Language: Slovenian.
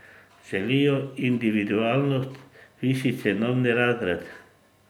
Želijo individualnost, višji cenovni razred.